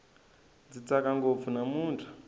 ndzi tsaka ngopfu namutlha